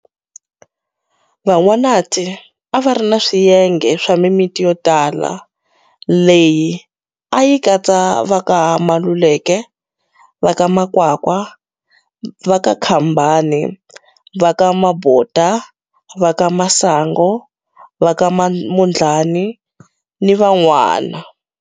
Van'wanati a va ri ni swiyenge swa mimiti yo tala leyi a yi katsa va ka Maluleke, va ka Makwakwa, va ka Khambane, va ka Mabota, va ka Masangu, va ka Mondlani, ni van'wani.